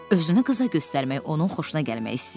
Özünü qıza göstərmək onun xoşuna gəlmək istəyirdi.